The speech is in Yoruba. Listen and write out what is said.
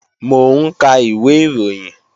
Mò ń ka ìwé ìròyìn